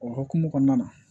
O hokumu kɔnɔna na